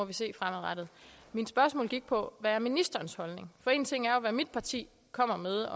vi se fremadrettet mit spørgsmål gik på hvad er ministerens holdning en ting er hvad mit parti kommer med